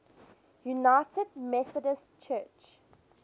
united methodist church